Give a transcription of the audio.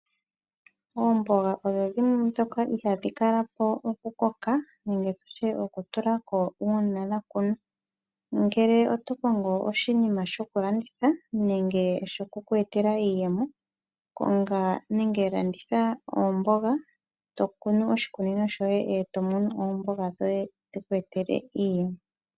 Oomboga odho dhimwe ndhoka ihaadhi kalapo okukoka nenge okutulako uuna dhakunwa. Ngele oto kongo oshinima shokulanditha nenge shokuku etela iiyemo konga nenge landitha oomboga, tokunu oshikunino shoye eto mono oomboga dhoye , dhiku etele iiyemo.